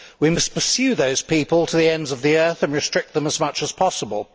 We must pursue those people to the ends of the earth and restrict them as much as possible.